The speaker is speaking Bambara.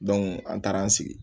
an taara an sigi